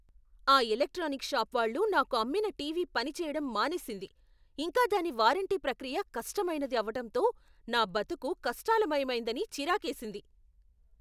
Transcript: ఆ electronics shop వాళ్ళు నాకు అమ్మిన టీవీ పనిచేయడం మానేసింది, ఇంకా దాని వారంటీ ప్రక్రియ కష్టమైనది అవటంతో నా బతుకు కష్టాలమయమైందని చిరాకేసింది.